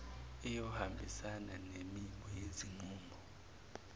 iyohambisana nemimo yezinqumo